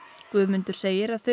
Guðmundur segir að þau